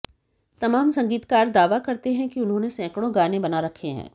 तमाम संगीतकार दावा करते है कि उन्होंने सैकड़ों गाने बना रखे हैं